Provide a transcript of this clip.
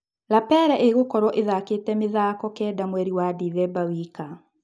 Lapele ĩgũkorwo ĩthakĩte mĩthako kenda mweri wa Ndithemba wika.